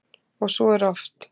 Og svo er oft.